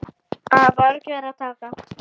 Af mörgu er að taka.